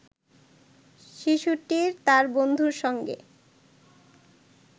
শিশুটি তার বন্ধুর সঙ্গে